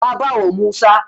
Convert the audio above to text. Na bawa Musa.